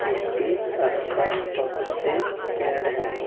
इसके आस पास बहुत से पेड़ हैं।